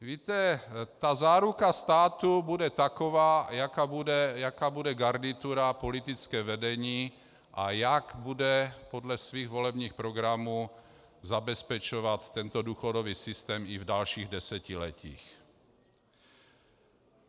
Víte, ta záruka státu bude taková, jaká bude garnitura, politické vedení a jak bude podle svých volebních programů zabezpečovat tento důchodový systém i v dalších desetiletích.